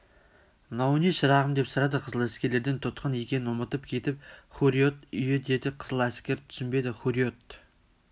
мынау не шырағым деп сұрады қызыләскерден тұтқын екенін ұмытып кетіп хурриет үйі деді қызыләскер түсінбеді хурриет